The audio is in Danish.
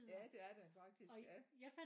Ja det er der faktisk ja